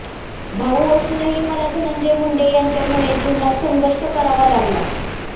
भाऊ असूनही मला धनंजय मुंडे यांच्यामुळे जीवनात संघर्ष करावा लागला